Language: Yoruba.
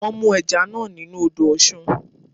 Wọ́n mú ẹja náà nínú u odò Ọ̀sun